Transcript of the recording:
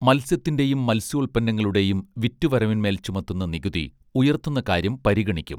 മത്സ്യത്തിന്റെയും മത്സ്യോൽപ്പന്നങ്ങളുടെയും വിറ്റുവരവിന്മേൽ ചുമത്തുന്ന നികുതി ഉയർത്തുന്ന കാര്യം പരിഗണിക്കും